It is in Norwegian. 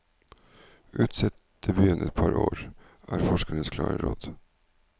Utsett debuten et par år, er forskerens klare råd.